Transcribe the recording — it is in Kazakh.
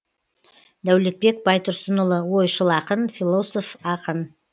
дәулетбек байтұрсынұлы ойшыл ақын философ ақын